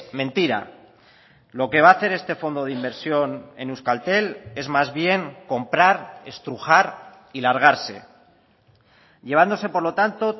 mentira lo que va a hacer este fondo de inversión en euskaltel es más bien comprar estrujar y largarse llevándose por lo tanto